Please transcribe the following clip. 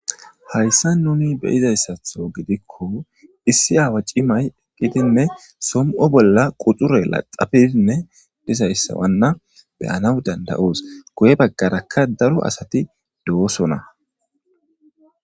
Hayssa nuni beyizayssatho gidikko issi aawa cimay eqqidinne som7o bolla quxure laxafiinne disayssawanna beyanaw danda7oos goye baggarakka daro asati do7osona.